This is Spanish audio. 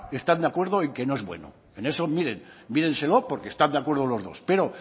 están de acuerdo en que no es bueno en eso miren mírenselo porque están de acuerdo los dos pero